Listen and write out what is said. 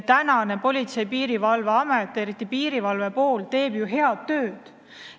Tänane Politsei- ja Piirivalveamet, eriti piirivalve pool, teeb ju head tööd.